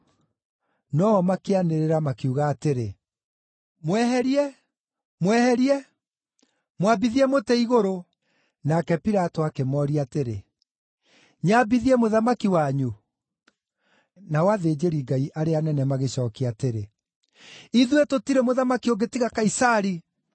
No-o makĩanĩrĩra, makiuga atĩrĩ, “Mweherie! Mweherie! Mwambithie mũtĩ-igũrũ!” Nake Pilato akĩmooria atĩrĩ, “Nyambithie Mũthamaki wanyu?” Nao athĩnjĩri-Ngai arĩa anene magĩcookia atĩrĩ, “Ithuĩ tũtirĩ mũthamaki ũngĩ tiga Kaisari.”